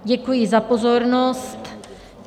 Děkuji za pozornost.